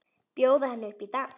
Bjóða henni upp í dans!